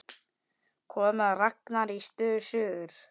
Komið að Ragnari í suður.